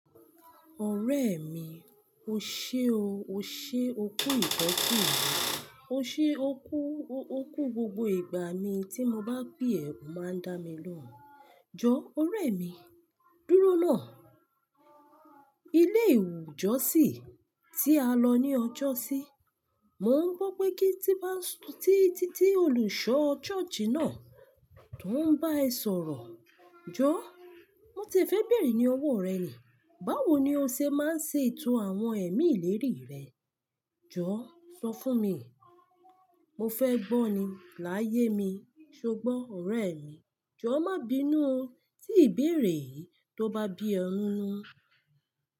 Ọ̀rẹ́ mi, o ṣe o, o ṣe o kú ìtọ́jú mii O ṣe o kú, o kú gbogbo ìgbà mi tí mo bá pe ẹ, o máa ń dá mi lóhùn. Jọ, ọ̀rẹ́ mi, dúró náà. Ilé ìjọsìn tí a lọ ní ọjọ́sí, mò ń gbọ́ pé kí tí bá ń títí olùṣọ̀ church náà tó ń bá ẹ sọ̀rọ̀. Jọ, mo ti fẹ́ bẹ̀rẹ̀ ní ọwọ́ rẹ ni. Báwo ni o ṣe máa ń ṣe ètò àwọn ẹ̀mí ìlérí rẹ? Jọ, sọ fún mi. Mo fẹ́ gbọ́ ni láyé mi. Ṣé o gbọ́, ọ̀rẹ́ mi? Jọ, má bínú tí ìbéèrè yìí tó bá bí ọ̀ nínú.